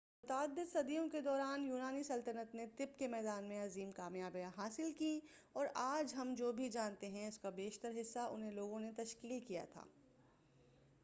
متعدد صدیوں کے دوران یونانی سلطنت نے طب کے میدان میں عظیم کامیابیاں حاصل کیں اور آج ہم جو بھی جانتے ہیں اسکا بیشتر حصّہ انھیں لوگوں نے تشکیل کیا تھا